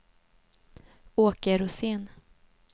Åke Rosén